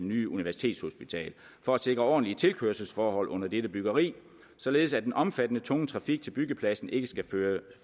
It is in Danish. nye universitetshospital for at sikre ordentlige tilkørselsforhold under dette byggeri således at den omfattende tunge trafik til byggepladsen ikke skal